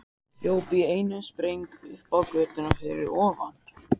Hljóp í einum spreng upp á götuna fyrir ofan.